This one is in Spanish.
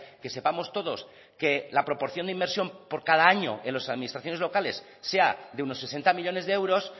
que sepamos todos que la proporción de inversión por cada año en las administraciones locales sea de unos sesenta millónes de euros